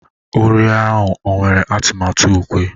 uri a ọ nwere atụmatụ ukwe?